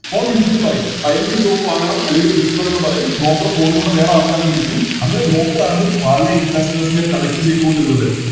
Phone പറയും ആ എനിക്ക് Stock വാങ്ങണം അല്ലെങ്കില് വിളിക്കണമെന്ന് പറയും Broker ലൂടെ വേറെ ആൾക്കാരെ വിളിക്കും അങ്ങനെ Broker ആണ് പല Investors നെയും Connect ചെയ്തുകൊണ്ടിരുന്നത്